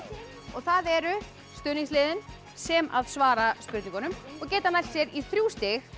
og það eru stuðningsliðin sem svara spurningunum og geta nælt sér í þrjú stig